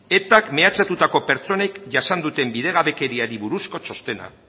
etak mehatxatutako pertsonek jasan duten bidegabekeriari buruzko txostena